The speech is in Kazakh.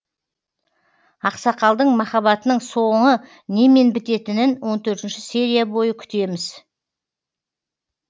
ақсақалдың махаббатының соңы немен бітетінін он төртінші серия бойы күтеміз